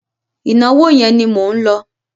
Ìnáwó yẹn ni mò ń lọ.